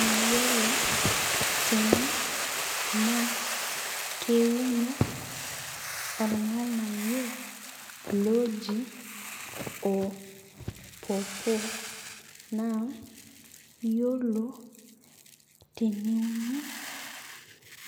Iyiolo tene naa keuno ornkanayioi loji or pawpaw. Iyiolo teneuni